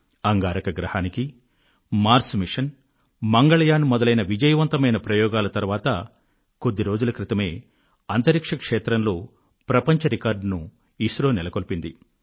అంగారక గ్రహానికి Mars mission Mangalyaan మొదలైన విజయవంతమైన ప్రయోగాల తరువాత కొద్ది రోజుల క్రితమే అంతరిక్ష క్షేత్రంలో ప్రపంచ రికార్డు ను ఐఎస్ఆర్ఒ నెలకొల్పింది